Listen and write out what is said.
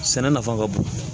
Sɛnɛ nafa ka bon